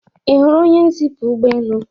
ị hụrụ onye nzipu ụgbọelu?